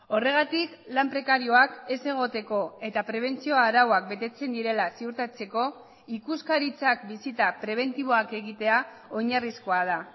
horregatik lan prekarioak ez egoteko eta prebentzio arauak betetzen direla ziurtatzeko ikuskaritzak bisita prebentiboak egitea oinarrizkoa da